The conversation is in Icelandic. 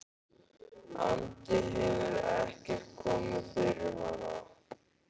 andi hefur ekkert komið fyrir hana.